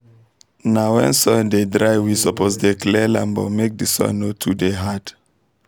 na when soil dey dry we suppose dey clear land but make the soil no too dey hard